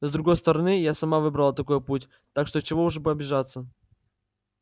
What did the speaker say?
с другой стороны я сама выбрала такой путь так что чего уж обижаться